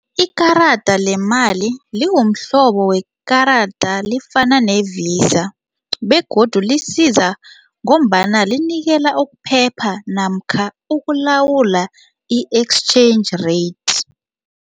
Ikarada lemali lingumhlobo wekarada lifana ne-VISA begodu lisiza ngombana linikela ukuphepha namkha ukulawula i-exchange rates.